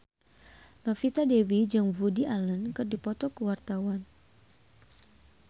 Novita Dewi jeung Woody Allen keur dipoto ku wartawan